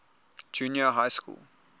junior high school